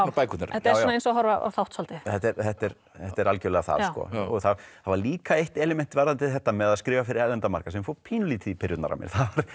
bækurnar þetta er eins og að horfa á þátt svolítið þetta er þetta er þetta er algjörlega það það var líka eitt element varðandi þetta með að skrifa fyrir erlendan markað sem fór pínulítið í pirrurnar á mér